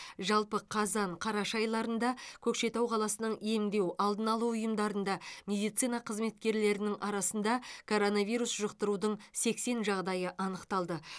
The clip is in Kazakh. жалпы қазан қараша айларында көкшетау қаласының емдеу алдын алу ұйымдарында медицина қызметкерлерінің арасында коронавирус жұқтырудың сексен жағдайы анықталды